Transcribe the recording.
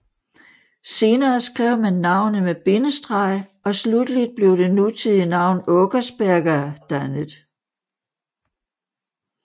Senere skrev man navnet med bindestreg og slutteligt blev det nutidige navn Åkersberga dannet